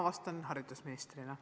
Ma vastan haridusministrina.